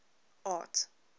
art